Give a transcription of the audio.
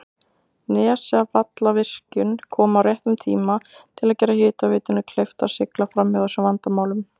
Nesjavallavirkjun kom á réttum tíma til að gera hitaveitunni kleift að sigla framhjá þessum vandamálum.